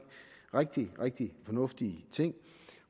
rigtig rigtig fornuftige ting